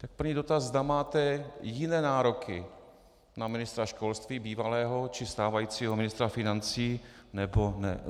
Tak první dotaz: Zda máte jiné nároky na ministra školství, bývalého, či stávajícího ministra financí, nebo ne.